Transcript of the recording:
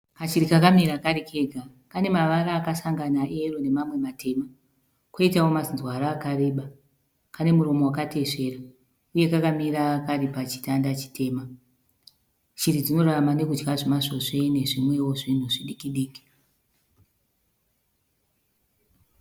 Kashiri kakamira kari kega. Kane mavara akasangana eyero nemamwe matema, koitawo mazinzwara akareba. Kane muromo wakatesvera uye kakamira kari pachitanda chitema. Shiri dzinorarama nokudya zvimasvosve nezvimwewo zvinhu zvidikidiki.